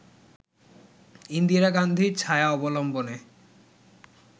ইন্দিরা গান্ধীর ছায়া অবলম্বনে